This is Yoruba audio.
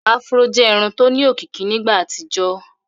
afro jẹ Irun tó ní òkìkí nígbà àtijọ